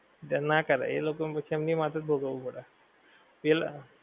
તે ના કરાય એ લોકો ને પછી એમની માથે જ ભોગવવું પડે. ઈલ